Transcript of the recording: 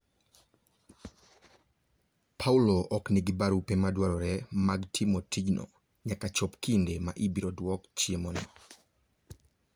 Paulo ok nigi barupe madwarore mag timo tijno nyaka chop kinde ma ibiro dwok chiemono.